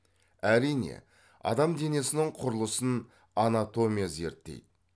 әрине адам денесінің құрылысын анатомия зерттейді